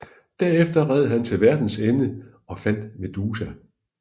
Derefter red han til verdens ende og fandt Medusa